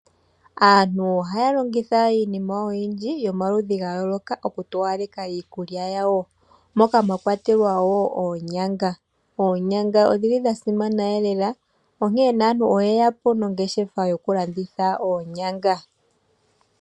Aantu ohaya longitha iinima oyindji yo maludhi gayoloka okutowaleka iikulya ya wo. Moka mwakwatelwa oonyanga .Oonyanga odhili dha simana lela onkene aantu oyeya po nongeshefa yokulanditha oonyanga.